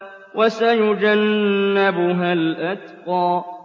وَسَيُجَنَّبُهَا الْأَتْقَى